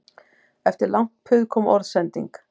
Eftir langt puð kom orðsending